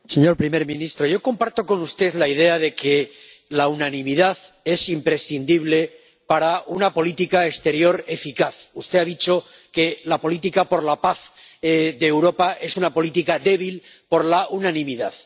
Señor presidente, señor primer ministro, yo comparto con usted la idea de que la unanimidad es imprescindible para una política exterior eficaz. Usted ha dicho que la política por la paz de Europa es una política débil por la unanimidad.